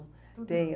Tudo. Tenho